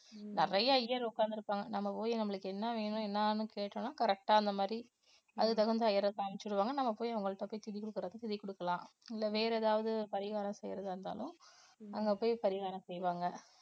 நிறைய ஐயர் உட்கார்ந்து இருப்பாங்க நம்ம போய் நம்மளுக்கு என்ன வேணும் என்னன்னு கேட்டோம்ன்னா correct ஆ அந்த மாதிரி அதுக்கு தகுந்த ஐயரை காமிச்சு விடுவாங்க நம்ம போய் அவங்கள்ட்ட போய் திதி கொடுக்கறதா திதி கொடுக்கலாம் இல்லை வேற ஏதாவது பரிகாரம் செய்யறதா இருந்தாலும் அங்க போய் பரிகாரம் செய்வாங்க